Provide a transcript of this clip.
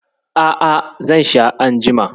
A'a, zan sha anjima.